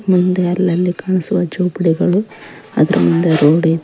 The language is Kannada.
ಮುಂದೆ ಅಲ್ಲಲ್ಲಿ ಕಾಣಿಸುವ ಚೌಪ್ಲಿಗಳು ಅದರ ಮುಂದೆ ರೋಡ್ ಇದೆ.